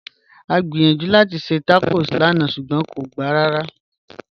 À gbíyànjú láti ṣẹ́ tacọ́s lànà ṣugbọn à kò gbá rárá